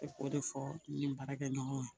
Ne k'o de fɔ ni n baarakɛɲɔgɔnw ye